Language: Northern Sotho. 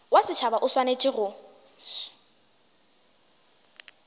wa setšhaba o swanetše go